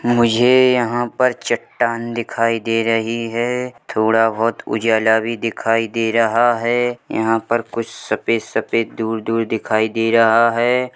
मुझे यहाँ पर चट्टान दिखाई दे रही है थोड़ा बहोत उजाला भी दिखाई दे रहा है हया पर कुछ सफ़ेद-सफेद दूर-दूर दिखाई दे है।